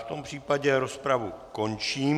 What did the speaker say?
V tom případě rozpravu končím.